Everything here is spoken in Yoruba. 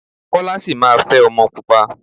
Kọ́lá sì máa fẹ́ ọmọ pupa.